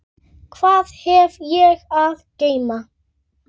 Hvað hef ég að geyma?